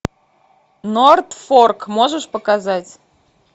нортфорк можешь показать